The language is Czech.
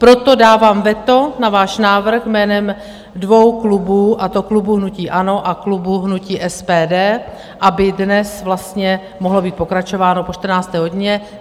Proto dávám veto na váš návrh jménem dvou klubů, a to klubu hnutí ANO a klubu hnutí SPD, aby dnes vlastně mohlo být pokračováno po 14. hodině.